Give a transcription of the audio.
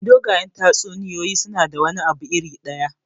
Dogayen tatsuniyoyi suna da wani abu iri ɗaya.